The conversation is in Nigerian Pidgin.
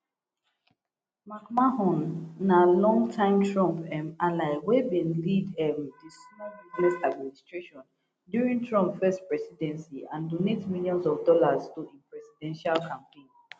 mcmahon na longtime trump um ally wey bin lead um di small business administration during trump first presidency and donate millions of dollars to im presidential campaign